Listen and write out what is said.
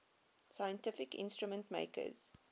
scientific instrument makers